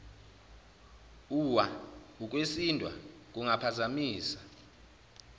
uwa ukwesindwa kungaphazamisa